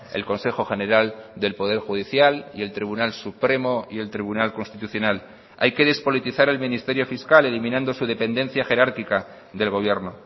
el consejo general del poder judicial y el tribunal supremo y el tribunal constitucional hay que despolitizar el ministerio fiscal eliminando su dependencia jerárquica del gobierno